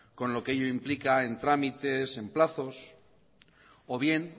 con lo que ello implica en trámites en plazos o bien